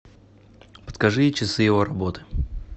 подскажи часы его работы